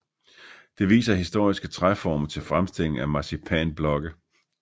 Det viser historiske træforme til fremstillingen af marcipanblokke